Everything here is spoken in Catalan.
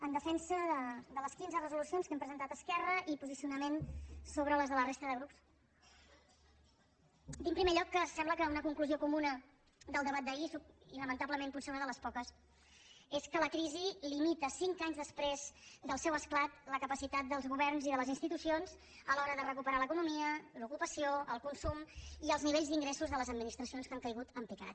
en defensa de les quinze resolucions que hem presentat esquerra i posicionament sobre les de la resta de grups dir en primer lloc que sembla que una conclusió comuna del debat d’ahir i lamentablement potser una de les poques és que la crisi limita cinc anys després del seu esclat la capacitat dels governs i de les institucions a l’hora de recuperar l’economia l’ocupació el consum i els nivells d’ingressos de les administracions que han caigut en picat